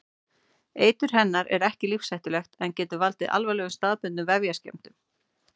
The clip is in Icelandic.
Eitur hennar er ekki lífshættulegt en getur valdið alvarlegum staðbundnum vefjaskemmdum.